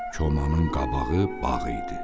Komanın qabağı bağ idi.